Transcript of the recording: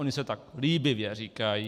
Oni si tak líbivě říkají.